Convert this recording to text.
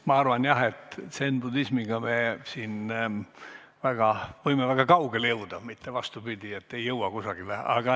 Ma arvan jah, et zen-budismiga me võime siin väga kaugele jõuda, mitte vastupidi, aga ei jõua kuskile.